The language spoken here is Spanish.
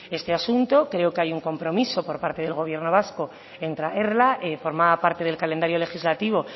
este asunto creo que hay un compromiso por parte del gobierno vasco en traerla formaba parte del calendario legislativo